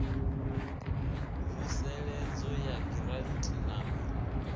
mvuseledzo ya giranthi na u